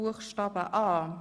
Buchstabe a.